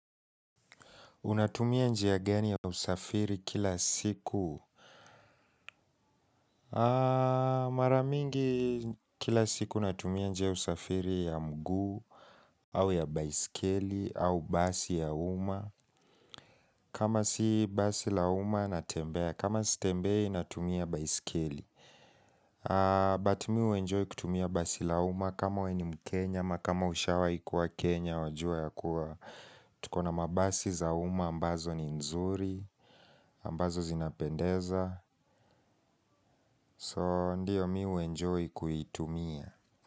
Unatumia njia gani ya usafiri kila siku? Maramingi kila siku natumia njia ya usafiri ya mguu au ya baiskeli au basi ya umma. Kama siyo basi la umma natembea. Kama sitembea ninatumia baiskeli. But mi huenjoy kutumia basi la umma kama wewe ni mkenya ama kama ushawai kuwa kenya wajua ya kuwa. Tukona mabasi za umma ambazo ni nzuri, ambazo zinapendeza So ndiyo mimi u enjoy kuitumia.